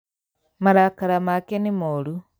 Marakara make nĩ moru